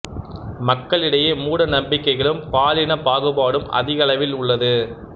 மக்களிடையே மூட நம்பிக்கைகளும் பாலின பாகுபாடும் அதிக அளவில் உள்ளது